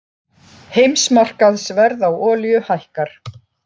Heimsmarkaðsverð á olíu hækkar